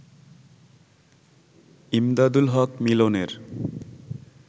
ইমদাদুল হক মিলনের